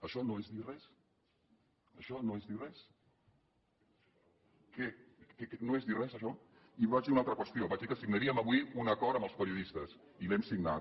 això no és dir res això no és dir res res això i vaig dir una altra qüestió vaig dir que signaríem avui un acord amb els periodistes i l’hem signat